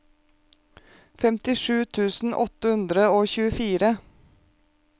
femtisju tusen åtte hundre og tjuefire